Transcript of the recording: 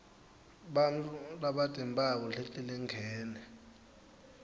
bantfu labatimphawu letilingene